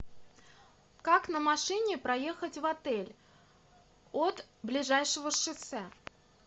как на машине проехать в отель от ближайшего шоссе